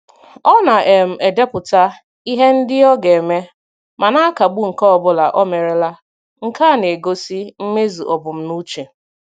Ọ na um - edepụta ihe ndị o ga-eme, ma na akagbu nke ọbụla omerela, nke a na - egosi mmezu ebumnuche.